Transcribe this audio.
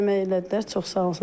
Kömək elədilər, çox sağ olsunlar.